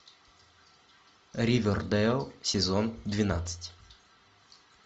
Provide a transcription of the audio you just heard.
ривердейл сезон двенадцать